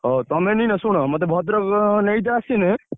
ଓହୋ! ତମେ ଶୁଣ ମତେ ଭଦ୍ରକ ନେଇତେ ଆସିଲେ